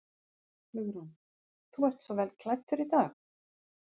Hugrún: Þú ert svo vel klæddur í dag?